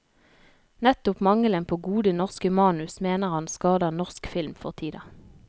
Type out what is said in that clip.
Nettopp mangelen på gode, norske manus mener han skader norsk film for tida.